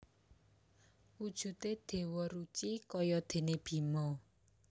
Wujudé Déwa Ruci kaya déné Bima